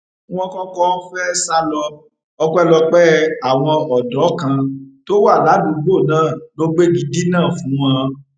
wọn kọkọ fẹẹ sá lọ ọpẹlọpẹ àwọn ọdọ kan tó wà ládùúgbò náà ló gbégi dínà fún wọn